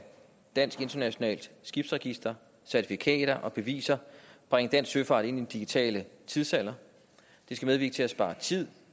dansk internationalt skibsregister certifikater og beviser bringe dansk søfart ind i den digitale tidsalder det skal medvirke til at spare tid